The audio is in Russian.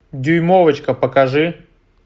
дюймовочка покажи